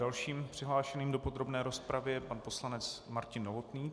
Dalším přihlášeným do podrobné rozpravy je pan poslanec Martin Novotný.